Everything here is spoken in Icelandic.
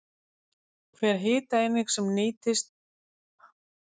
hver hitaeining sem við innbyrðum er ýmist nýtt eða geymd